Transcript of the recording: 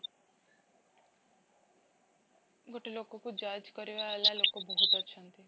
ଗୋଟେ ଲୋକକୁ judge କରିବା ବାଲା ଲୋକ ବହୁତ ଅଛନ୍ତି